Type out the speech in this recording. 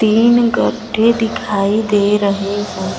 तीन गड्ढे दिखाई दे रहे हैं।